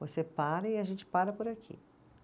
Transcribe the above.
Você para e a gente para por aqui.